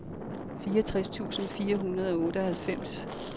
fireogtres tusind fire hundrede og otteoghalvfems